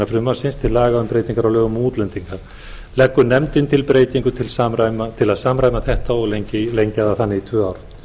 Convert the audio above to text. frumvarps til laga um breytingu á lögum um útlendinga leggur nefndin til breytingu til að samræma þetta og lengja það þannig í tvö ár